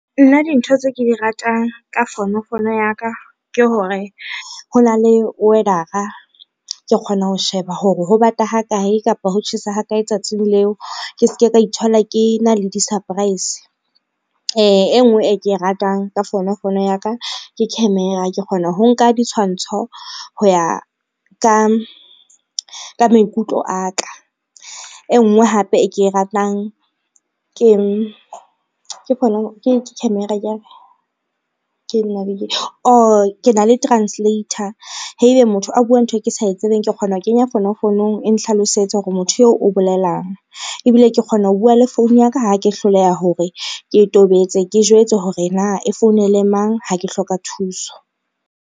Nna dintho tse ke di ratang ka fonofono ya ka, ke hore ho na le weather-a ke kgona ho sheba hore ho bata ho kae kapa ho tjhesa ha kae tsatsing leo ke ske ka ithola ke na le di-surprise. E ngwe e ke e ratang ka fonofono ya ka ke camera ke kgona ho nka ditshwantsho ho ya ka maikutlo a ka, e ngwe hape e ke e ratang oh ke na le translator haebe motho a bua ntho e ke sa e tsebeng, ke kgona ho kenya fonofonong e nhlalosetse hore motho eo o bolelang ebile ke kgona ho bua le founu ya ka ha ke hloleha hore ke tobetse ke jwetse hore na e founele mang, ha ke hloka thuso.